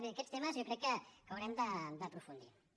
bé en aquests temes jo crec que haurem d’aprofundir hi